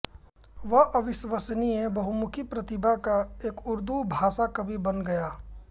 वह अविश्वसनीय बहुमुखी प्रतिभा का एक उर्दू भाषा कवि बन गया